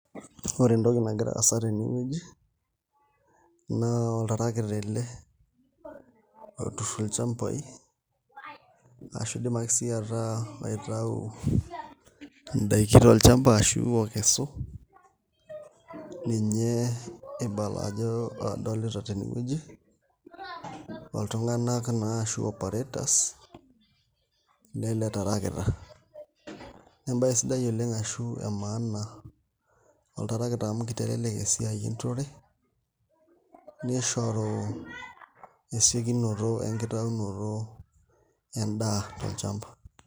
Ore entoki nagira aasa tenewueji naa oltarakita ele oturr ilchambai ashu iindim ake sii ataa eitayu indaiki tolchamba akesu ninye ibala ajo adolita tenewueji oltung'anak naa ashu operators lele tarakita embaye sidai oleng' ashu emaana oltarakita amu kitelelek esiai enturore nishoru esiokinoto enkitaunoto endaa tolchamba.